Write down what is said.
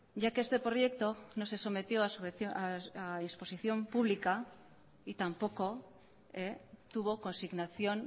ya que este proyecto no se sometió a disposición pública y tampoco tuvo consignación